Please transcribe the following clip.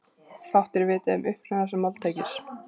Fátt er vitað um uppruna þessa máltækis.